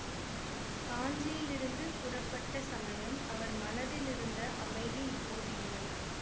காஞ்சியிலிருந்து புறப்பட்ட சமயம் அவர் மனத்திலிருந்த அமைதி இப்போது இல்லை